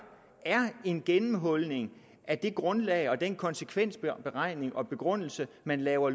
er en gennemhulning af det grundlag og den konsekvensberegning og begrundelse man laver